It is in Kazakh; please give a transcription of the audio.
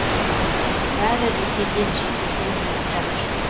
бәрі ресейден шетелден келіп жатыр